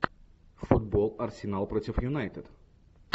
футбол арсенал против юнайтед